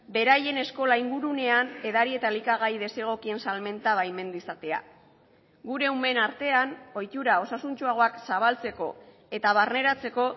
beraien eskola ingurunean edari eta elikagai desegokien salmenta baimendu izatea gure umeen artean ohitura osasuntsuagoak zabaltzeko eta barneratzeko